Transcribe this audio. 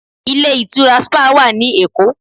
Ilé ìtura spa wà ní Èkó.